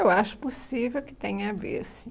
Eu acho possível que tenha a ver, sim.